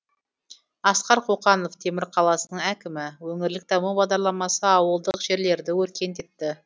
асқар қоқанов темір қаласының әкімі өңірлік даму бағдарламасы ауылдық жерлерді өркендетті